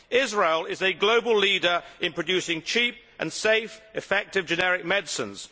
Israel is a global leader in producing cheap and safe, effective generic medicines.